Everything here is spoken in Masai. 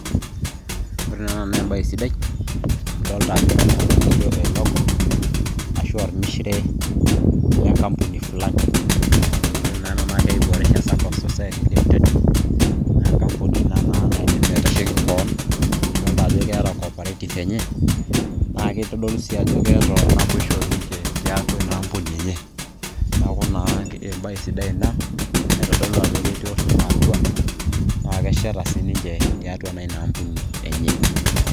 ore naa ena naa ebae sidai adolta ajo ologo, aashu ormishire lengampuni fulani ore naa ena naa keji boresha sacco society, limited naa engampuni naa ina naaidim atashoki kewon amu idolta ajo keeta cooperative ,enye naa kitodolu sii ajo keeta naboisho tiatua ina ampuni enye neeku naa ebae sidai ina naitodolu ajo ketii oning'o atua naa kesheta siiniche naa tiatua ina ampuni enye.